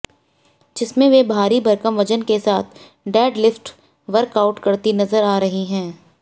जिसमें वे भारी भरकम वजन के साथ डेडलिफ्ट वर्कआउट करती नजर आ रही हैं